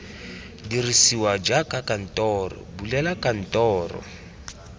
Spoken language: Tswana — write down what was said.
dirisiwa jaaka dikantoro bulela kantoro